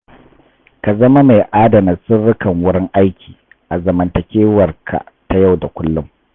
Ka zama mai adana sirrukan wurin aiki a zamantakewarka ta yau da kullum.